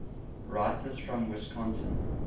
writers from wisconsin